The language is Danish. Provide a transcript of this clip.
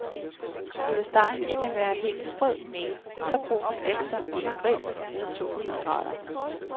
Skulle stegen ikke være helt sprød, så brun efter under grill ved tohundrede grader.